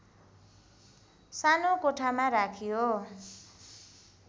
सानो कोठामा राखियो